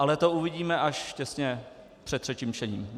Ale to uvidíme až těsně před třetím čtením.